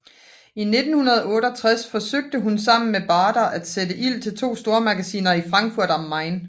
I 1968 forsøgte hun sammen med Baader at sætte ild til to stormagasiner i Frankfurt am Main